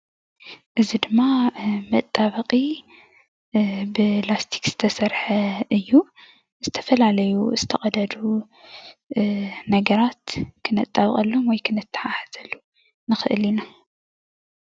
እዚ ድማ መጣበቂ ብላስቲክ ዝተሰርሐ እዩ። ዝተፈላለዩ ዝተቀደዱ ነገራት ክነጣብቀሉ ወይ ክነታሓሕዘሉ ንክእል ኢና።